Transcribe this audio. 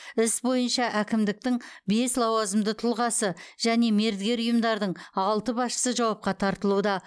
іс бойынша әкімдіктің бес лауазымды тұлғасы және мердігер ұйымдардың алты басшысы жауапқа тартылуда